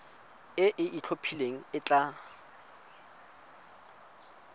e e itlhophileng e tla